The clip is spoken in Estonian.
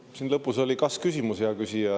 Siin lõpus oli kas-küsimus, hea küsija.